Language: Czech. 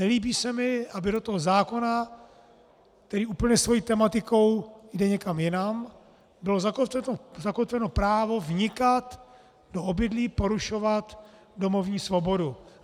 Nelíbí se mi, aby do toho zákona, který úplně svou tematikou jde někam jinam, bylo zakotveno právo vnikat do obydlí, porušovat domovní svobodu.